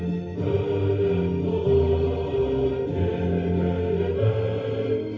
гүлің болып егілемін